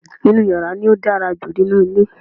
inú yàrá ni ó dára jù nínú ilé